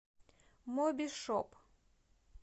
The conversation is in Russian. мобишоп